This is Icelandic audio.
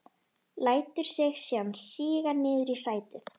Lætur sig síðan síga niður í sætið.